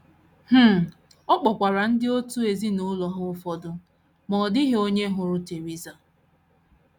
um Ọ kpọkwara ndị òtù ezinụlọ ha ụfọdụ, ma ọ dịghị onye hụrụ Theresa.